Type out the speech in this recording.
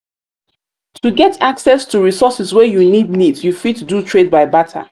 to get access to resources wey um you need need you fit um do trade um by barter